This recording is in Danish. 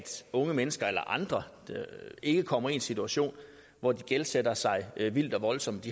unge mennesker eller andre ikke kommer i en situation hvor de gældsætter sig vildt og voldsomt